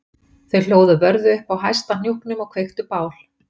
Þau hlóðu vörðu upp á hæsta hnúknum og kveiktu bál